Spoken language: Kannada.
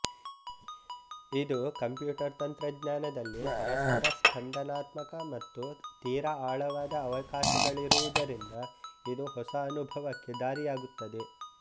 ಇದು ಕಂಪ್ಯೂಟರ್ ತಂತ್ರಜ್ಞಾನದಲ್ಲಿ ಪರಸ್ಪರ ಸ್ಪಂಧನಾತ್ಮಕ ಮತ್ತು ತೀರಾ ಆಳವಾದ ಅವಕಾಶಗಳಿರುವುದರಿಂದ ಇದು ಹೊಸ ಅನುಭವಕ್ಕೆ ದಾರಿಯಾಗುತ್ತದೆ